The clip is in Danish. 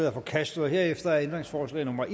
er forkastet herefter er ændringsforslag nummer